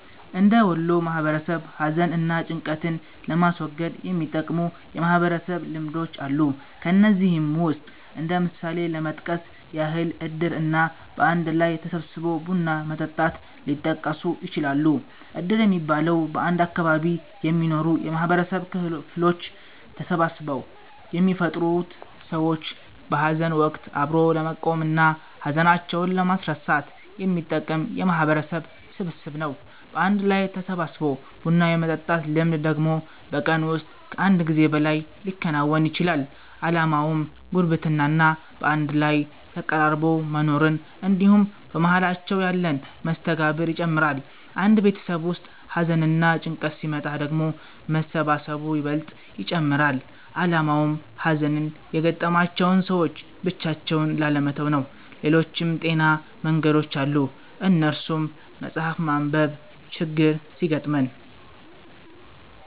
እንደ ወሎ ማህበረሰብ ሀዘን እና ጭንቀትን ለማስወገድ የሚጠቅሙ የማህበረሰብ ልምዶች አሉ። ከነዚህም ውስጥ እንደ ምሳሌ ለመጥቀስ ያህል እድር እና በአንድ ላይ ተሰባስቦ ቡና መጠጣት ሊጠቀሱ ይችላሉ። እድር የሚባለው፤ በአንድ አካባቢ የሚኖሩ የማህበረሰብ ክፍሎች ተሰባስበው የሚፈጥሩት ሰዎችን በሀዘን ወቀት አብሮ ለመቆም እና ሀዘናቸውን ለማስረሳት የሚጠቅም የማህበረሰብ ስብስብ ነው። በአንድ ላይ ተሰባስቦ ቡና የመጠጣት ልምድ ደግሞ በቀን ውስጥ ከአንድ ጊዜ በላይ ሊከወን ይችላል። አላማውም ጉርብትና እና በአንድ ላይ ተቀራርቦ መኖርን እንድሁም በመሃላቸው ያለን መስተጋብር ይጨምራል። አንድ ቤተሰብ ውስጥ ሀዘንና ጭንቀት ሲመጣ ደግሞ መሰባሰቡ ይበልጥ ይጨመራል አላማውም ሀዘን የገጠማቸውን ሰዎች ብቻቸውን ላለመተው ነው። ሌሎችም ጤናማ መንገዶች አሉ እነሱም ስፓርት፣ መፀሀፍ ማንብ፤ ችግር ሲገጥመን